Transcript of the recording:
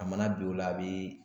A mana bi o la a bi